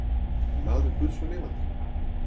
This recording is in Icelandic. Maður guðs og lifandi.